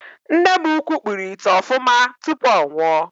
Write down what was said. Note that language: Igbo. Nne m ukwu kpụrụ ite ofuma tupu ọ nwụọ.